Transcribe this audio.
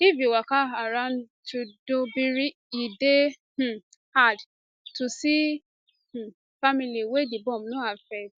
if you waka around tudunbiri e dey um hard to um see family wey di bomb no affect